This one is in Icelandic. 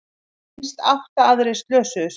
Minnst átta aðrir slösuðust